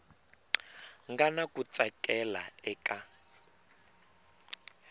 nga na ku tsakela eka